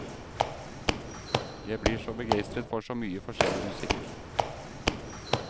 Jeg blir så begeistret for så mye forskjellig musikk.